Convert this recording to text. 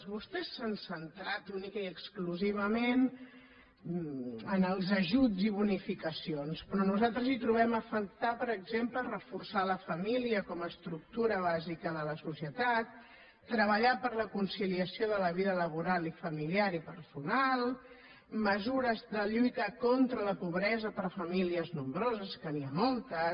vostès s’han centrat únicament i exclu·sivament en els ajuts i bonificacions però nosaltres hi trobem a faltar per exemple reforçar la família com a estructura bàsica de la societat treballar per la concili·ació de la vida laboral i familiar i personal mesures de lluita contra la pobresa per a famílies nombroses que n’hi ha moltes